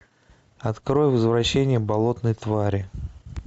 открой возвращение болотной твари